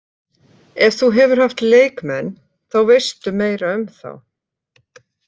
Ef þú hefur haft leikmenn, þá veistu meira um þá.